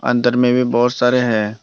अंदर में भी बहोत सारे हैं।